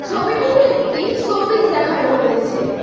ছবিটিতে একটি শোপিস দেখানো হয়েছে।